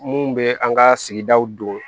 Mun bɛ an ka sigidaw don